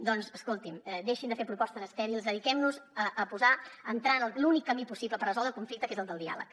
doncs escoltin deixin de fer propostes estèrils dediquemnos a entrar en l’únic camí possible per resoldre el conflicte que és el del diàleg